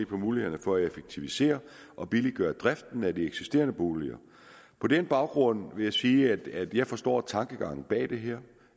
på mulighederne for at effektivisere og billiggøre driften af de eksisterende boliger på den baggrund vil jeg sige at jeg forstår tankegangen bag det her